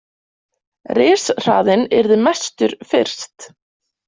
Rishraðinn yrði mestur fyrst.